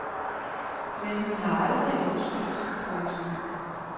Men hun har aldrig undskyldt. punktum